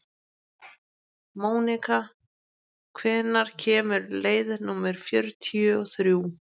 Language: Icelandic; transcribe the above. Mónika, hvenær kemur leið númer fjörutíu og þrjú?